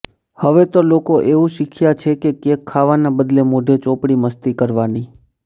હવે તો લોકો એવું શીખ્યાં છે કે કેક ખાવાના બદલે મોઢે ચોપડી મસ્તી કરવાની